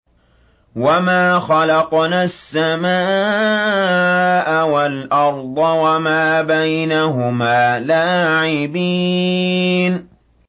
وَمَا خَلَقْنَا السَّمَاءَ وَالْأَرْضَ وَمَا بَيْنَهُمَا لَاعِبِينَ